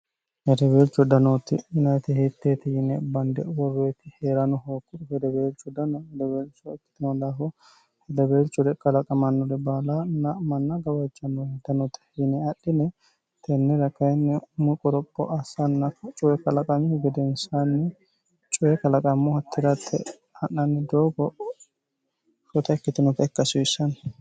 herebeelcu danooti yinayite hietteeti yine bande worreeti hee'rano hookkudu fedebeelcu dano fedeweelcho ikkitino laho hedebeelcure qalaqamannure baala na manna gawajjanno hitenoote yine adhine tennira kayinni mu qoropho assanna cuye kalaqamihu gedeensaanni cuye kalaqammo hattiratte ha'nanni doogo fota ikkitinota ikkasiissanni